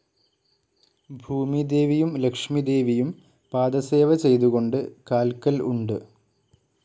ഭൂമിദേവിയും ലക്ഷ്മിദേവിയും പാദസേവചെയ്തുകൊണ്ട് കാൽക്കൽ ഉണ്ട്.